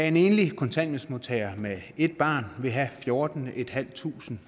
en enlig kontanthjælpsmodtager med ét barn vil have fjortentusinde